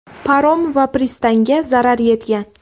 Parom va pristanga zarar yetgan.